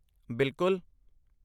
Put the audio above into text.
ਬਿਲਕੁਲ!